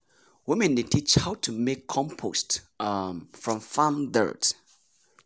women dey teach how to make compost um from farm dirt.